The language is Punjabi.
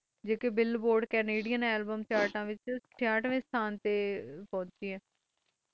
ਬਿਲਬੋਟ ਕੈਨੇਡਾਂ ਆਲਮ ਚਾਰਟ ਵਿਚ ਚਿਤਵੇ ਸੰਤਾਂ ਪੋਚੇ ਹੈ